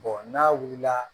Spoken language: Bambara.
n'a wulila